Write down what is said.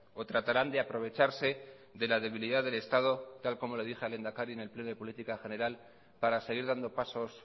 o tratarán de aprovecharse de la debilidad del estado tal como le dije al lehendakari en el pleno de política general para seguir dando pasos